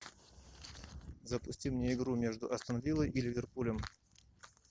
запусти мне игру между астон виллой и ливерпулем